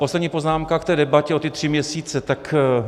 Poslední poznámka k té debatě - o ty tři měsíce.